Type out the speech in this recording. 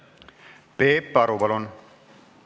Peep Aru, palun!